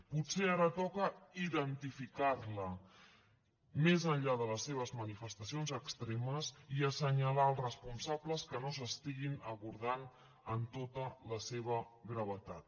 potser ara toca identificar la més enllà de les seves manifestacions extremes i assenyalar els responsables que no s’estiguin abordant en tota la seva gravetat